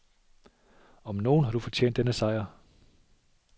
Om nogen har du fortjent denne sejr.